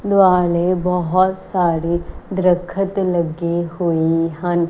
ਦੁਆਲੇ ਬੋਹੁਤ ਸਾਰੀ ਦ੍ਰਖਤ ਲੱਗੇ ਹੋਏ ਹਨ।